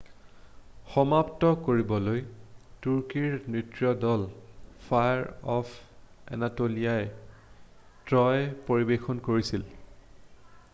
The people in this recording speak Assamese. "সমাপ্ত কৰিবলৈ তুৰ্কীৰ নৃত্য দল ফায়াৰ অফ এনাটলিয়াই "ট্ৰয়" পৰিবেশন কৰিছিল।""